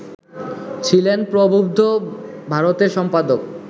ছিলেন প্রবুদ্ধ ভারতের সম্পাদক